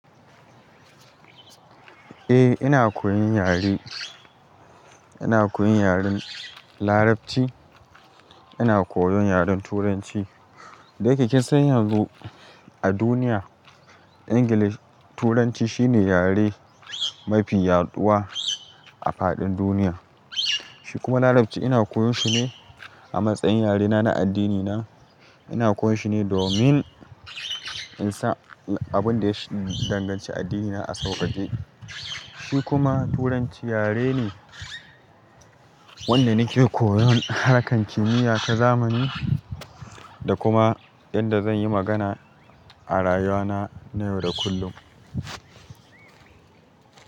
Eh ina koyon yare, ina koyon yaren Larabci, ina koyon yaren Turanci. Da yake kinsan yanzu a duniya English, Turanci shine yare mafi yaɗuwa a faɗin duniya. Shi kuma Larabci ina koyon shi ne a matsayin yarena na addini na. Ina koyon shi ne domin in san abin da ya shudi danganci addinina a sauƙaƙe. Shi kuma Turanci yare ne wanda nake koyon harkar kimiyya ta zamani da kuma yadda zan yi magana a rayuwa na na yau da kullum.